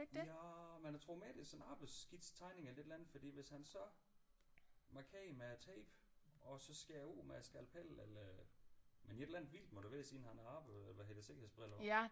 Ja men jeg tror mere det er sådan en arbejdsskitse tegning eller et eller andet fordi hvis han så markerer med tapen og så skærer ud med skalpellen eller men et eller andet vildt må det være siden han har arbejde hvad hedder det sikkerhedsbriller på